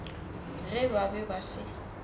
ge ba be ba se